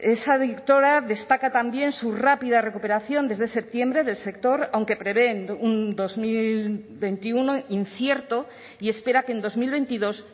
esa directora destaca también su rápida recuperación desde septiembre del sector aunque prevén un dos mil veintiuno incierto y espera que en dos mil veintidós